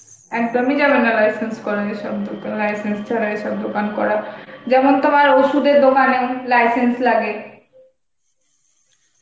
একদম ই যাবে না license করা এসব দোকান, license ছাড়া এসব দোকান করা, যেমন তোমার অষুধের দোকানে license লাগে